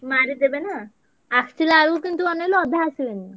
ମାରିଦେବେନା ଆସିଲା ବେଳକୁ କିନ୍ତୁ ଅନେଇଲୁ ଅଧା ଆସିବେନି।